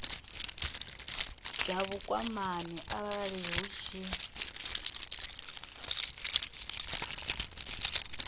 dza vhukwamani arali hu tshi